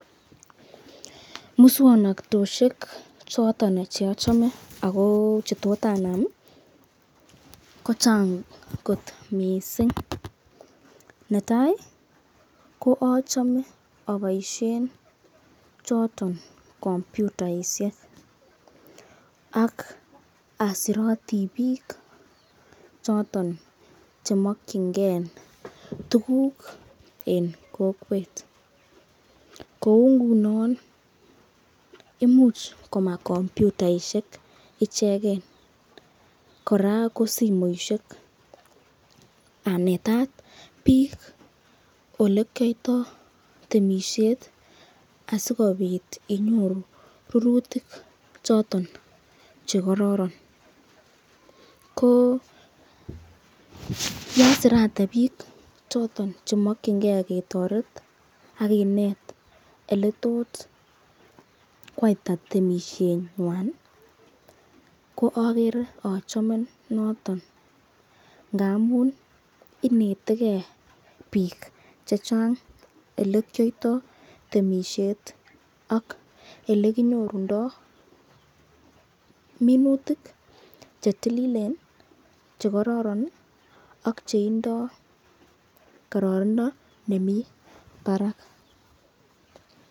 Muswoknatoshek choton che ochome ago che tot anam kochang mising, netai ko achame aboisien choton kompyutaisiek ak asiroti biiik choton che mokinge tuguk en kokwet. Kou ngunon imuch koma kompyutainik icheget kora ko simoishek anetat biik ole kiyoito temisiet asikobit inyoru rurutik choton che kororon ko ye asirate biik choton che mokinge ketoret ak kinet ole tot koyaita temisienywan ko agere achame noton ngamun inetege biik chechang ole kiyoito temisiet ak ele kinyorundo minutik che tililin che kororon ak che tindo kororonindo nemi barak.